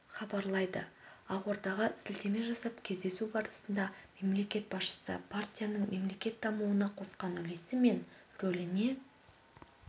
хабарлайды ақордаға сілтеме жасап кездесу барысында мемлекет басшысы партияның мемлекет дамуына қосқан үлесі мен рөліне